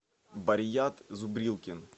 барьят зубрилкин